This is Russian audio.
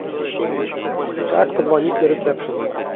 как позвонить на ресепшен